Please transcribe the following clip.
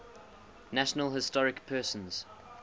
national historic persons